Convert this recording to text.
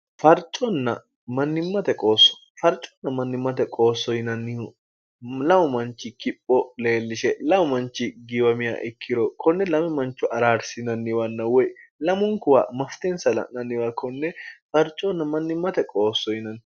fcnimmte qoossofarconna mannimmate qoosso yinannihu lamu manchi kipho leellishe lamu manchi giwamiya ikkiro konne lame mancho araarsinanniwanna woy lamunkuwa mafitensa la'nanniwa konne farcoonna mannimmate qoosso yinannih